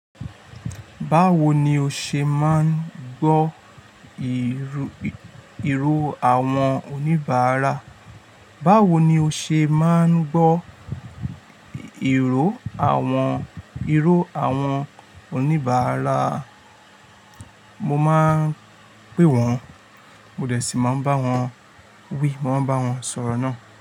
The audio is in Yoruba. Báwo ni o ṣe máa ń gbọ́ ìró àwọn oníbàárà? Báwo ni o ṣe máa ń gbọ́ ìró àwọn, ìró àwọn oníbàárà? Mo máa ń pè wọ́n, mo dẹ̀ sì máa ń bá wọn wí, mo máa ń bá wọn sọ̀rọ̀ náà.